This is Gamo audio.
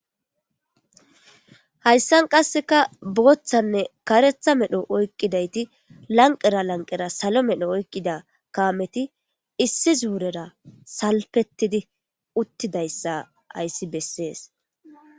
Hayssani qassekka booththanne karetha medho oyikidayti lanqera lanqera salo meedho kameti issi zurera salpetidayssa besishe de'es.